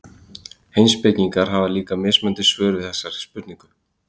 Heimspekingar hafa líka mismunandi svör við þessari spurningu.